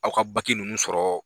Aw ka baki ninnu sɔrɔ